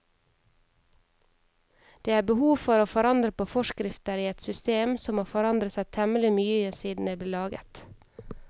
Det er behov for å forandre på forskrifter i et system som har forandret seg temmelig mye siden det ble laget.